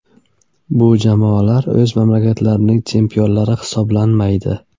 Bu jamoalar o‘z mamlakatining chempionlari hisoblanmaydi.